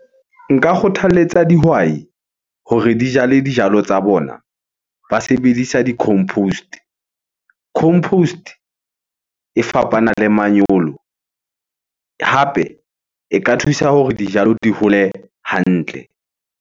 Nka kgothaletsa dihwai hore di jale dijalo tsa bona ba sebedisa di-compost. Compost e fapana le manyolo, hape e ka thusa hore dijalo di hole hantle.